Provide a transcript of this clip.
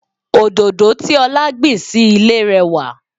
Òdòdó tí ọlá gbìn sì ilé rẹwà.